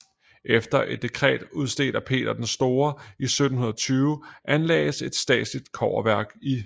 Efter et dekret udstedt af Peter den Store i 1720 anlagdes et statligt kobberværk i